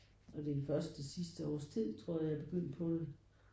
Og det er først de sidste års tid tror jeg jeg begyndte på det